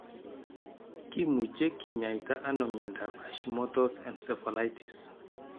Kimuche kinyaita ano miondap Hashimoto's encephalitis.